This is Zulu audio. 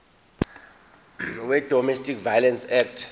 wedomestic violence act